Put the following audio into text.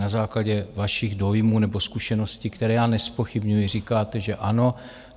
Na základě vašich dojmů nebo zkušeností, které já nezpochybňuji, říkáte, že ano.